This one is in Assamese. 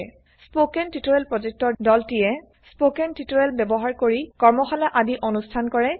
স্পোকেন টিউটোৰিয়েল প্ৰযেক্তৰ দলে160 স্পোকেন টিউটোৰিয়েল ব্যৱহাৰ কৰি ৱাৰ্কশ্বপ কৰে